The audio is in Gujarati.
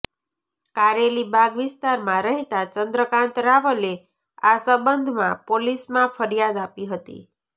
કારેલીબાગ વિસ્તારમાં રહેતા ચંદ્રકાંત રાવલે આ સંબંધમાં પોલીસમાં ફરિયાદ આપી હતી